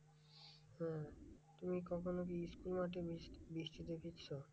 তুমি কখনো কি school মাঠে বৃষ্টি~ বৃষ্টিতে ভিজছো?